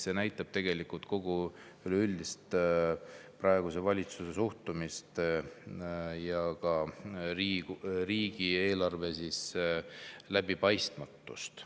See näitab tegelikult kogu üleüldist praeguse valitsuse suhtumist ja ka riigieelarve läbipaistmatust.